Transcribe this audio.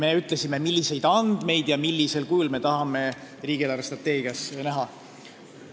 Me ütlesime, milliseid andmeid ja millisel kujul me tahame riigi eelarvestrateegias näha.